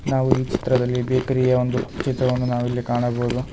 ನಾವು ಈ ಚಿತ್ರದಲ್ಲಿ ಬೇಕರಿ ಯ ಒಂದು ಚಿತ್ರವನ್ನು ನಾವಿಲ್ಲಿ ಕಾಣಬಹುದು.